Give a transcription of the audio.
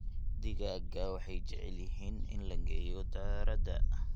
Digaagga waxay jecel yihiin in la geeyo daarada.